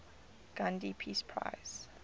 gandhi peace prize